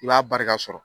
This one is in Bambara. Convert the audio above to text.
I b'a barika sɔrɔ